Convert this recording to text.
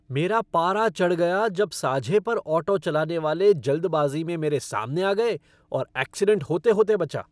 मेरा पारा चढ़ गया जब साझे पर ऑटो चलाने वाले जल्दबाजी में मेरे सामने आ गए और ऐक्सीडेंट होते होते बचा।